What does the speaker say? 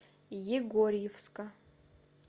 егорьевска